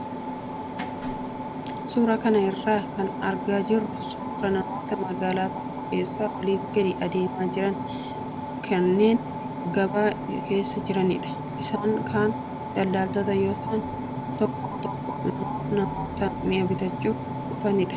Suuraa kana irraa kan argaa jirru suuraa namoota magaalaa tokko keessa oliif gadi adeemaa jiran kanneen gabaa keessa jiranidha. Isaan kaan daldaltoota yoo ta'an, tokko tokko immoo namoota mi'a bitachuu dhufanidha.